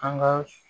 An ka